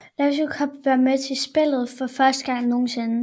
League Cup vil være med i spillet for første gang nogensinde